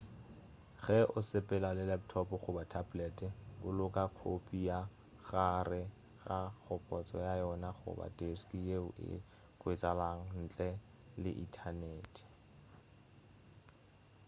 ge o sepela le laptop goba tablet boloka khopi ka gare ga kgopotša ya yona goba deski yeo e hwetšagalago ntle le inthanete